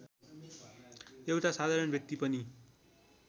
एउटा साधारण व्यक्ति पनि